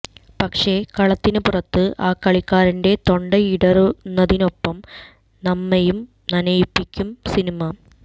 പക്ഷെ കളത്തിന് പുറത്ത് ആ കളിക്കാരന്റെ തൊണ്ടയിടറുന്നതിനൊപ്പം നമ്മെയും നനയിപ്പിക്കും സിനിമ